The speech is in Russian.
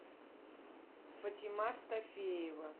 фатима стафеева